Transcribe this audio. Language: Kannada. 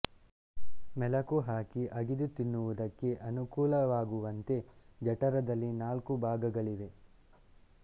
ಮೆಲಕು ಹಾಕಿ ಅಗಿದು ತಿನ್ನುವುದಕ್ಕೆ ಅನುಕೂಲವಾಗುವಂತೆ ಜಠರದಲ್ಲಿ ನಾಲ್ಕು ಭಾಗಗಳಿವೆ